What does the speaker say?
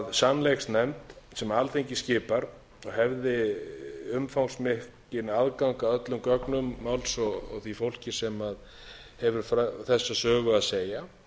sannleiksnefnd sem alþingi skipar hefði umfangsmikinn aðgang að öllum gögnum máls og því fólki sem hefur þessa sögu að segja